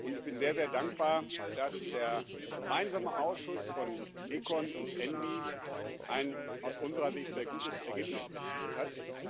Ich bin sehr dankbar, dass der gemeinsame Ausschuss von ECON und ENVI ein aus unserer Sicht sehr gutes Ergebnis erzielt hat.